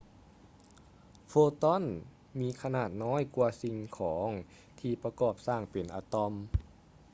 ໂຟຕອນ photon ມີຂະໜາດນ້ອຍກ່ວາສິ່ງຂອງທີ່ປະກອບສ້າງເປັນອະຕອມ!